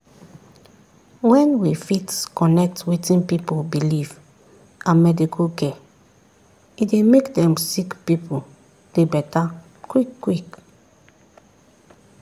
wen we fit connect wetin pipu believe and medical care e dey make dem sick pipu dey beta quick quick.